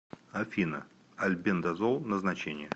афина альбендазол назначение